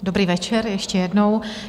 Dobrý večer ještě jednou.